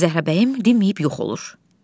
Zəhrabəyim dimməyib yox olur.